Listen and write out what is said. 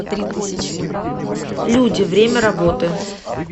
люди время работы